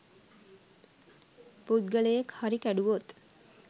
පුද්ගලයෙක් හරි කැඩුවොත්